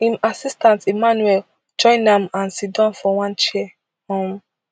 im assistant emmanuel join am and sidon for one chair um